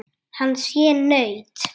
Hann sé naut.